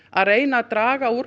að reyna að draga úr